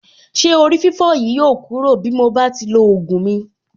Ṣé orí-fífọ́ yìí yóò kúrò bí mo bá ti lo ògùn mi.